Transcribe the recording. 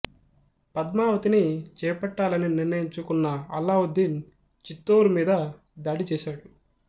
పద్మావతిని చేపట్టాలని నిర్ణయించుకున్న అల్లావుద్దీన్ చిత్తోరు మీద దాడి చేసాడు